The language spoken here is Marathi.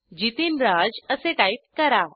जितीनराज असे टाईप करा